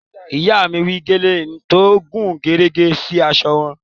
Ìyá mi wé gèlè tó gúnrégé sí aṣọ wọn